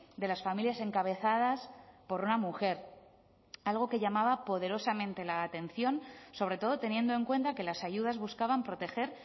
de las familias encabezadas por una mujer algo que llamaba poderosamente la atención sobre todo teniendo en cuenta que las ayudas buscaban proteger